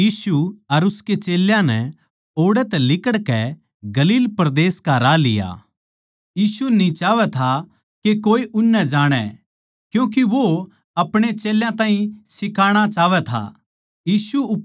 फेर यीशु अर उसके चेल्लें नै ओड़ै तै लिकड़कै गलील परदेस का राह लिया यीशु न्ही चाहवै था के कोए उननै जाणै क्यूँके वो आपणे चेल्यां ताहीं सीखाणा चाहवै था